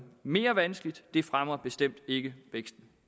mere vanskeligt det fremmer bestemt ikke væksten